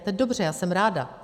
A to je dobře, já jsem ráda.